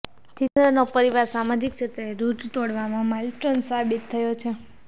જીતેન્દ્રનો પરિવાર સામાજિક ક્ષેત્રે રૂઢિ તોડવામાં માઇલસ્ટોન સાબિત થયો છે